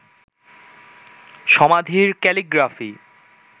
সমাধির ক্যালিগ্রাফি